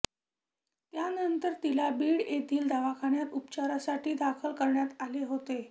यानंतर तिला बीड येथील दवाखान्यात उपचारांसाठी दाखल करण्यात आले होते